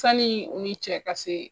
Sanni u ni cɛ ka se